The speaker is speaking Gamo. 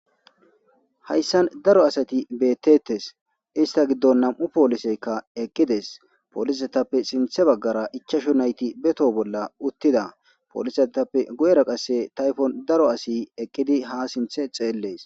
hayssan daro asati beettettes ista giddon nam7u pooliseykka eqqides poolisetappe sinthe baggara ichashu nayti beto bolla uttida poolisatappe goyra qasse tayfon daro asi eqqidi ha sinthe xeellees